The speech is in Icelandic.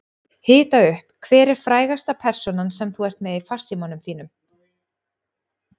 Hita upp Hver er frægasta persónan sem þú ert með í farsímanum þínum?